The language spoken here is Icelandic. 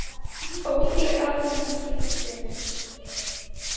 Ódýr almenn skynsemi